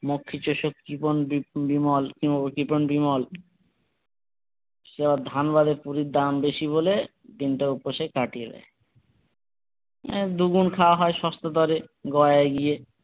মক্ষীচুসক জীবন বি বিমল কিমো জীবন বিমল সে বার ধান বাদে পুরীর দাম বেশি বলে দিনটা উপসে কাটিয়ে দেয় এ দুগুণ খাওয়া হয় সস্তা দরে গয়ায় গিয়ে।